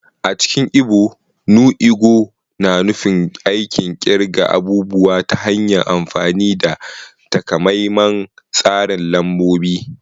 A cikin Ibo, “nu ego” na nufin aikin kirga abubuwa ta hanyar amfani da takamaiman tsarin lambobi.